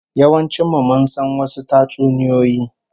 Yawancin mu mun san wasu tatsuniyoyi